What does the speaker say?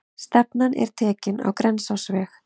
Stefnan er tekin á Grensásveg.